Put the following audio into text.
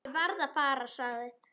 Ég verð að fara, sagði